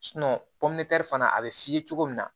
fana a bɛ f'i ye cogo min na